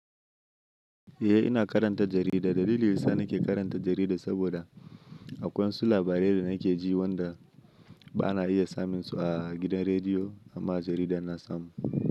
Eh ina karanta jarida, dalilin da yasa nake karanta jarida saboda akwai wasu labarai da nake ji wanda ba na iya samun su a gidan rediyo amma a jarida na samu.